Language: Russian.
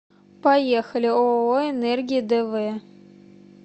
поехали ооо энергия дв